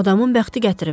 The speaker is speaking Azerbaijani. Adamın bəxti gətirib.